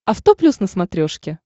авто плюс на смотрешке